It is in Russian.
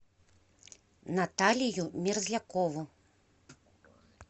наталию мерзлякову